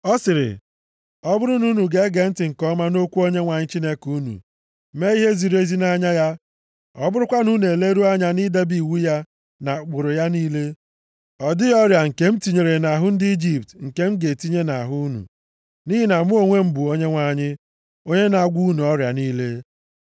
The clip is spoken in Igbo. Ọ sịrị, “Ọ bụrụ na unu ga-ege ntị nke ọma nʼokwu Onyenwe anyị Chineke unu, mee ihe ziri ezi nʼanya ya, ọ bụrụkwa na unu eleruo anya idebe iwu ya na ụkpụrụ ya niile, ọ dịghị ọrịa nke m tinyere nʼahụ ndị Ijipt nke m ga-etinye nʼahụ unu. Nʼihi na mụ onwe m bụ Onyenwe anyị, onye na-agwọ unu ọrịa niile.”